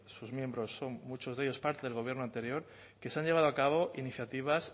sus miembros son muchos de ellos parte del gobierno anterior que se han llevado a cabo iniciativas